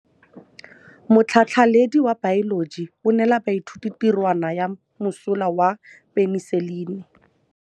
Motlhatlhaledi wa baeloji o neela baithuti tirwana ya mosola wa peniselene.